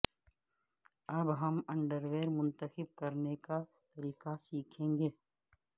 اب ہم انڈرویر منتخب کرنے کا طریقہ سیکھیں گے